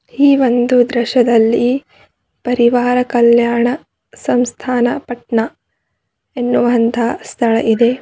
ಈ ಒಂದು ದೃಶ್ಯದಲ್ಲಿ ಪರಿವಾರ ಕಲ್ಯಾಣ ಸಂಸ್ಥಾನ ಪಟ್ನ ಎನ್ನುವಂತ ಸ್ಥಳ ಇದೆ.